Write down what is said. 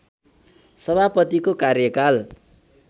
सभापतिको कार्यकाल